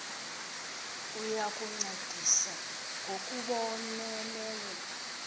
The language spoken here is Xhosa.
uya kuncedisa ngokubonelela